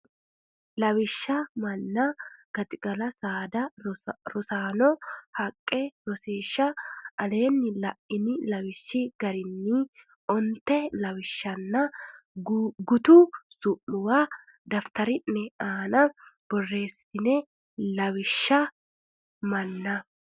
Lawishsha manna gaxigala saada rosaano haqqe Rosiishsha Aleenni la ini lawishshi garinni onte woshshonna gutu su muwa daftari ne aana borreesse Lawishsha manna.